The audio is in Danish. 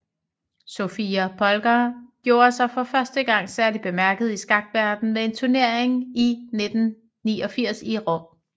Sofia Polgár gjorde sig for første gang særligt bemærket i skakverdenen ved en turnering i 1989 i Rom